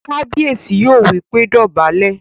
Kábíyèsí yóò wí pé "dọ̀bálẹ̀!"